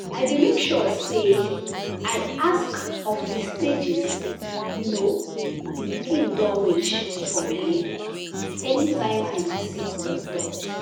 i dey make sure say i ask of the stages you know the pikin doh reach for belle anytime i visit doctor.